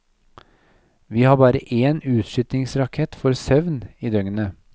Vi har bare én utskytningsrakett for søvn i døgnet.